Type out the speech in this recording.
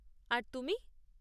আর তুমি?